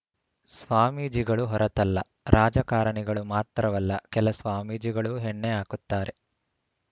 ಸ್ವಾಮೀಜಿಗಳು ಹೊರತಲ್ಲ ರಾಜಕಾರಣಿಗಳು ಮಾತ್ರವಲ್ಲ ಕೆಲ ಸ್ವಾಮೀಜಿಗಳು ಎಣ್ಣೆ ಹಾಕುತ್ತಾರೆ